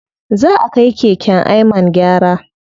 Zaʼa kai keken Ayman gyara.